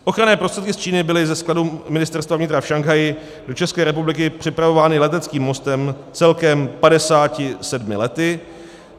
Ochranné prostředky z Číny byly ze skladu Ministerstva vnitra v Šanghaji do České republiky přepravovány leteckým mostem celkem 57 lety.